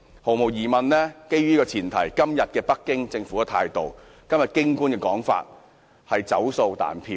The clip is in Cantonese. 毫無疑問，基於這個前提，今天北京政府的態度和京官的說法，是"走數彈票"。